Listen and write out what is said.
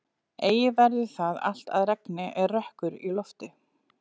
Eigi verður það allt að regni er rökkur í lofti.